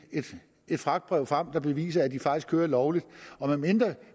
fragtbrev frem der beviser at de faktisk kører lovligt og medmindre